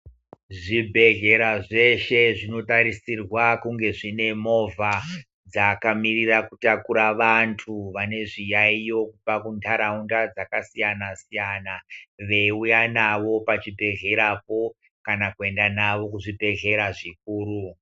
Zvibhedhlera zveshe zvinotarisirwa kunge zvine movha dzakamirira kutakura vantu vane zviyayo kubva kundaraunda dzakasiyana-siyana, veyiuya navo pachibhedhlerapo, kana kuenda navo kuzvibhedhlera zvikuru.